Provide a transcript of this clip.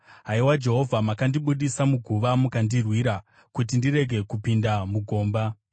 Haiwa Jehovha, makandibudisa muguva; mukandirwira kuti ndirege kupinda mugomba.